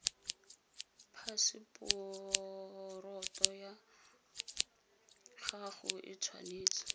phaseporoto ya gago e tshwanetse